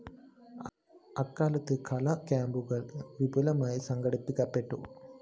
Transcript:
അക്കാലത്ത് കലാ ക്യാമ്പുകള്‍ വിപുലമായി സംഘടിപ്പിക്കപ്പെട്ടു